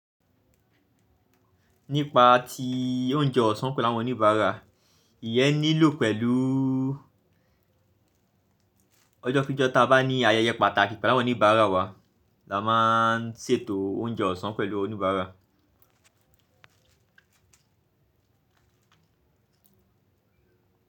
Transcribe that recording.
Nípa ti o je oosàn pèlé àwon oníbàárà ìyẹ́ nílò pẹ̀lú ọjọ́ kí jọ tá bá ní ayẹyẹ pàtàkì pẹ̀lú àwọn oníbàárà wa, la máa ń ṣètò oúnjẹ ọ̀sán pẹ̀lú oníbàárà.